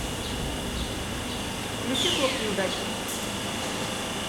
включи клуб неудачниц